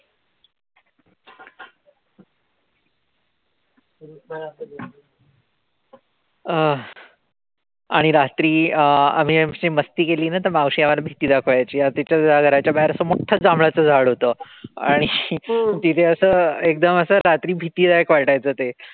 अह आणि रात्री अं आम्ही अशी मस्ती केली ना त मावशी आम्हाला भीती दाखवायची. तिच्या घराच्या बाहेर असं मोठंच जांभळाच झाड होत. आणि तिथे असं एकदम असं रात्री भीतीदायक वाटायचं ते.